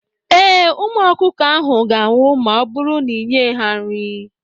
Ee, Ụmụ ọkụkọ ahụ ga-anwụ ma ọ bụrụ n'ịnyeghị ha nri.